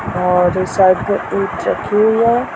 और साथ एक चक्की हुई है।